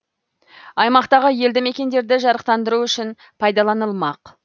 аймақтағы елді мекендерді жарықтандыру үшін пайдаланылмақ